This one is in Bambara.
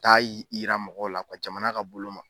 Taa yira mɔgɔw la jamana ka bolo ma.